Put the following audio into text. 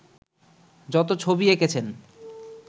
যত ছবি এঁকেছেন